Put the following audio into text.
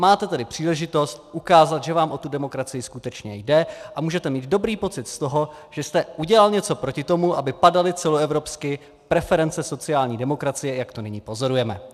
Máte tedy příležitost ukázat, že vám o tu demokracii skutečně jde, a můžete mít dobrý pocit z toho, že jste udělal něco proti tomu, aby padaly celoevropsky preference sociální demokracie, jak to nyní pozorujeme.